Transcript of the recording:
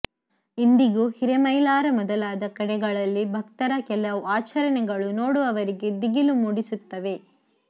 ಇಂದಿಗೂ ಹಿರೇಮೈಲಾರ ಮೊದಲಾದ ಕಡೆಗಳಲ್ಲಿ ಭಕ್ತರ ಕೆಲವು ಆಚರಣೆಗಳು ನೋಡುವವರಿಗೆ ದಿಗಿಲು ಮೂಡಿಸುತ್ತವೆ